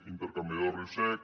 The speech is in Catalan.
intercanviador de riu sec